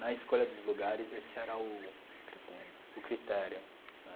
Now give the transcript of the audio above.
Na escolha dos lugares, esse era o. Critério. O critério, né?